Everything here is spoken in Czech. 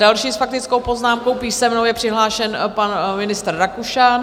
Další s faktickou poznámkou písemnou je přihlášen pan ministr Rakušan.